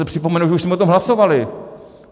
Pouze připomenu, že už jsme o tom hlasovali.